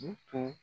U tun